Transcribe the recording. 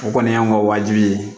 O kɔni y'anw ka wajibi ye